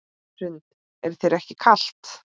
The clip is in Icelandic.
Hrund: Er þér ekki kalt?